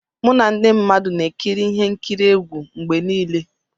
Mụ na ndị mmadụ na-ekiri ihe nkiri egwu mgbe niile.